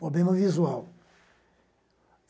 Problema visual.